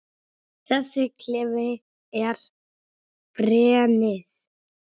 Þessi klefi er grenið.